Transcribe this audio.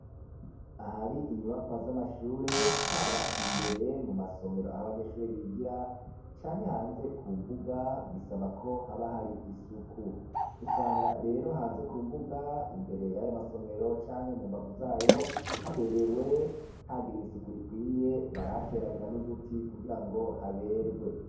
Ahari inyubakwa z'amashure, haba imbere mu masomero aho abanyeshure bigira, canke hanze ku mbuga, bisaba ko haba hari isuku. Usanga rero hanze ku mbuga imbere y'ayo masomero canke mu mbavu zayo haberewe, hagiriwe isuku rikwiye. Barahateragira n'uduti kugira ngo haberwe.